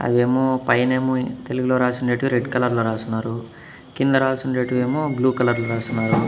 అయేమో పైనేమో తెలుగులో రాసుండేటివి రెడ్ కలర్లో రాసున్నారు కింద రాసుండేటివేమో బ్లూ కలర్లో రాసున్నారు.